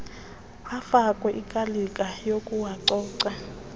afakwe ikalika yokuwacoca